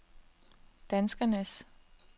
danskernes